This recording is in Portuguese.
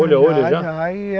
Olho a olho já?